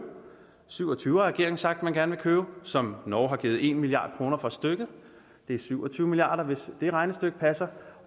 syv og tyve har regeringen sagt man gerne vil købe som norge har givet en milliard kroner for stykket det er syv og tyve milliard kr hvis det regnestykke passer